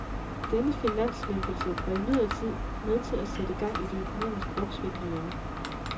Denne finanslempelse var imidlertid med til at sætte gang i det økonomiske opsving herhjemme.